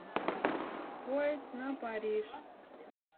поезд на париж